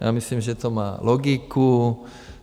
Já myslím, že to má logiku.